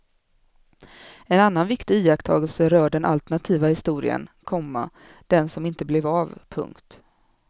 En annan viktig iakttagelse rör den alternativa historien, komma den som inte blev av. punkt